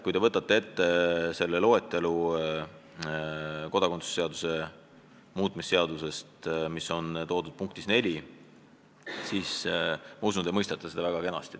Kui te võtate ette loetelu, mis on kodakondsuse seaduse muutmise seaduse eelnõu § 1 punktis 4, siis ma usun, et te mõistate seda küll.